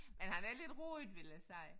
Men han er lidt rodet vil jeg sige